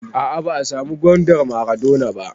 A'a ba a samu gwandar maradona ba